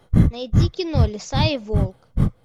найди кино лиса и волк